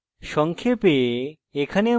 সংক্ষেপে